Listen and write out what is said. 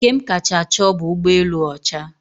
Nke m kacha chọọ bụ ụgbọelu ọcha.